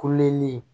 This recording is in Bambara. Kolen